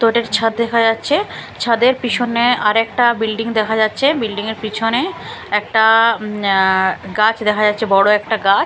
তো এটার ছাদ দেখা যাচ্ছে ছাদের পিসনে আরেকটা বিল্ডিং দেখা যাচ্ছে বিল্ডিং -এর পিছনে একটা উম আঃ গাছ দেখা যাচ্ছে বড়ো একটা গা--